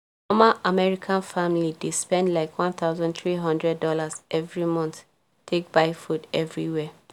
normal american family dey spend likeone thousand three hundred dollarsevery month take buy food every year